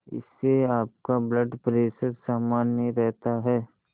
इससे आपका blood pressure सामान्य रहता है